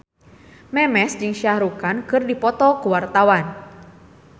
Memes jeung Shah Rukh Khan keur dipoto ku wartawan